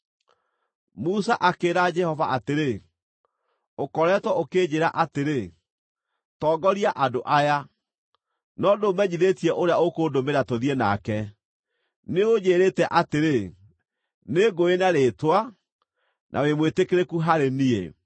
Musa akĩĩra Jehova atĩrĩ, “Ũkoretwo ũkĩnjĩĩra atĩrĩ, ‘Tongoria andũ aya,’ no ndũũmenyithĩtie ũrĩa ũkũndũmĩra tũthiĩ nake. Nĩũnjĩrĩte atĩrĩ, ‘Nĩngũũĩ na rĩĩtwa, na wĩ mwĩtĩkĩrĩku harĩ niĩ.’